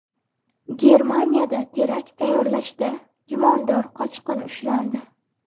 Germaniyada terakt tayyorlashda gumondor qochqin ushlandi.